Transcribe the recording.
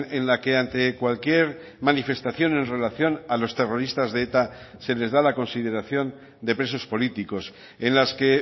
en la que ante cualquier manifestación en relación a los terroristas de eta se les da la consideración de presos políticos en las que